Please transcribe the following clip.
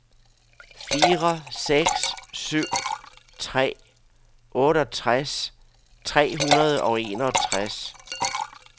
fire seks syv tre otteogtres tre hundrede og enogtres